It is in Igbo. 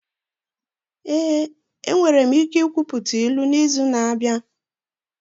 Ee, enwere m ike ikwuputa ilu n'izu na-abịa.